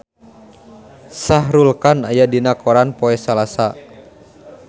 Shah Rukh Khan aya dina koran poe Salasa